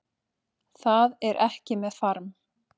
Það er ekki með farm